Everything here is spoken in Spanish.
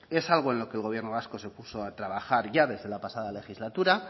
es algo en lo que el gobierno vasco se puso a trabajar ya desde la pasada legislatura